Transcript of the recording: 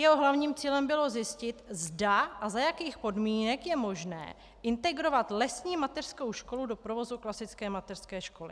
Jeho hlavním cílem bylo zjistit, zda a za jakých podmínek je možné integrovat lesní mateřskou školu do provozu klasické mateřské školy.